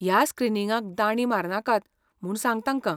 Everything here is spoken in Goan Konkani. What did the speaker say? ह्या स्क्रीनिंगाक दांडी मारनाकात म्हूण सांग तांकां.